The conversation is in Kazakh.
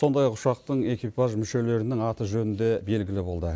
сондай ақ ұшақтың экипаж мүшелерінің аты жөні де белгілі болды